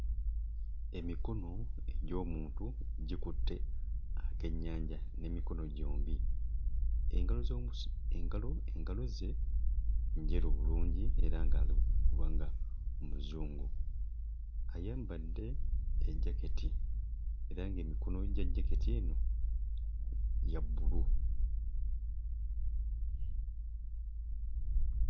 Emikono egy'omuntu gikutte akennyanja n'emikono gyombi. Engalo z'omusi... engalo engalo ze njeru bulungi era ng'ali kubanga Muzungu. Ayambadde ejjaketi era ng'emikono gya jaketi eno gya bbulu.